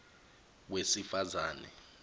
wesifazane